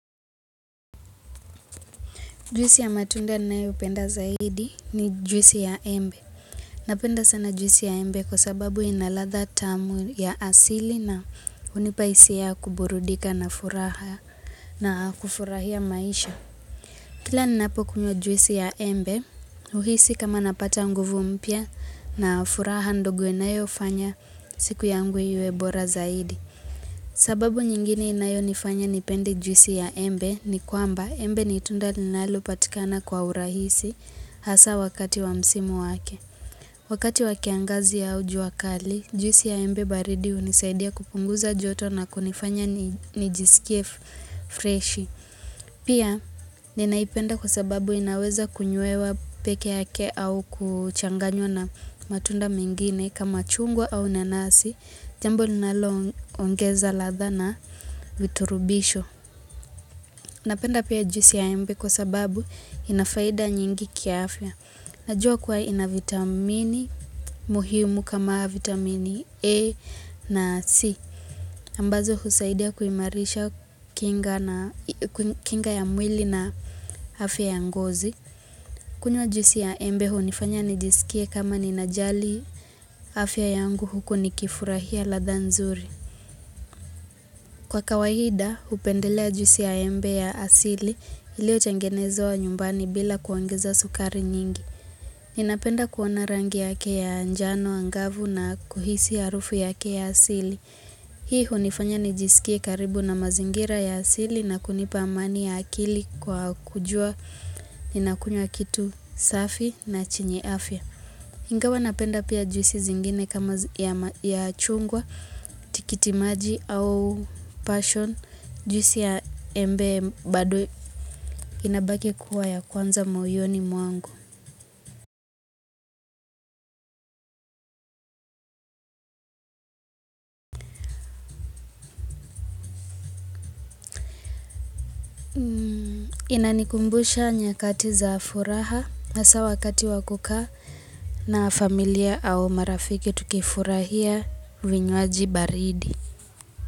Juisi ya matunda ninayopenda zaidi ni juisi ya embe. Napenda sana jwisi ya embe kwa sababu ina ladha tamu ya asili na hunipa hisia yakuburudika na furaha na kufurahia maisha. Kila ninapokunywa jwisi ya embe, huhisi kama napata nguvu mpya na furaha ndogo inayofanya siku yangu iwe bora zaidi. Sababu nyingine inayonifanya nipende jwisi ya embe ni kwamba embe ni tunda linalopatikana kwa urahisi hasa wakati wa msimu wake. Wakati wa kiangazi au juakali, jwisi ya embe baridi unisaidia kupunguza joto na kunifanya nijisikie fresh. Pia ninaipenda kwa sababu inaweza kunywewa peke yake au kuchanganywa na matunda mengine kama chungwa au nanasi, jambo linaloongeza ladha na viturubisho. Napenda pia jusi ya embe kwa sababu inafaida nyingi kiafya. Najua kwa ina vitamini muhimu kama vitamini A na C. Ambazo husaidia kuimarisha kinga ya mwili na afya ya ngozi. Kuntwa jusi ya embe hunifanya nijisikie kama ninajali afya yangu huku nikifurahia ladha nzuri. Kwa kawaida, hupendelea juisi ya embe ya asili iliyotengenezwa nyumbani bila kuongeza sukari nyingi. Ninapenda kuona rangi yake ya anjano angavu na kuhisi ya rufu yake ya asili. Hii hunifanya nijisikie karibu na mazingira ya asili na kunipa amani ya akili kwa kujua ninakunywa kitu safi na chenye afya. Ingawa napenda pia juisi zingine kama ya chungwa, tikitimaji au passion, jwisi ya embe badwe inabaki kuwa ya kwanza moyoni mwangu. Inanikumbusha nyakati za furaha na haswa wakati wakukaa na familia au marafiki tukifurahia vinywaji baridi.